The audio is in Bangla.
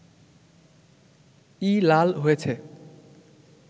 ই লাল হয়েছে